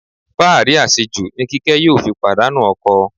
Fáàrí àṣejù ni Kíkẹ́ yóò fi pàdánù ọkọ.